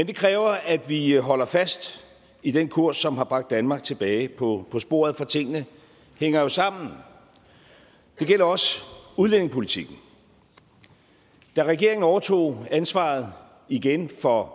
det kræver at vi holder fast i den kurs som har bragt danmark tilbage på sporet for tingene hænger jo sammen det gælder også udlændingepolitikken da regeringen overtog ansvaret igen for